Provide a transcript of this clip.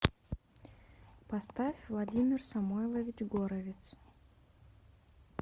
поставь владимир самойлович горовиц